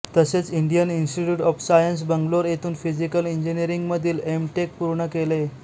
तसेच Indian Institute of Science Bangalore येथून physical इंजिनिअरिंगमधील एमटेक पूर्ण केले